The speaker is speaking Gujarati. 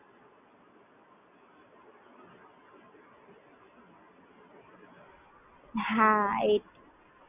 હા Card છે મારી પાસે.